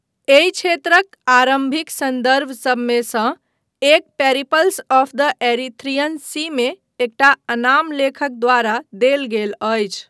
एहि क्षेत्रक आरम्भिक सन्दर्भ सबमे सँ एकटा पेरिप्लस ऑफ द एरीथ्रियन सीमे एकटा अनाम लेखक द्वारा देल गेल अछि।